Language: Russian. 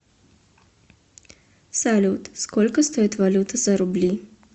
салют сколько стоит валюта за рубли